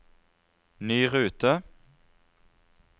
ny rute